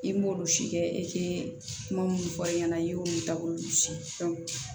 I b'olu si kɛ i tɛ kuma minnu fɔ i ɲɛna i y'olu taabolo si